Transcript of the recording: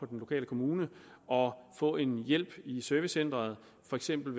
den lokale kommune og få hjælp i servicecenteret for eksempel